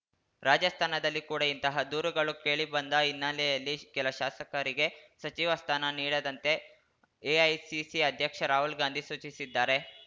ರಾಜಸ್ಥಾನದಲ್ಲಿ ಕೂಡ ಇಂತಹ ದೂರುಗಳು ಕೇಳಿಬಂದ ಹಿನ್ನೆಲೆಯಲ್ಲಿ ಕೆಲ ಶಾಸಕರಿಗೆ ಸಚಿವ ಸ್ಥಾನ ನೀಡದಂತೆ ಎಐಸಿಸಿ ಅಧ್ಯಕ್ಷ ರಾಹುಲ್‌ ಗಾಂಧಿ ಸೂಚಿಸಿದ್ದಾರೆ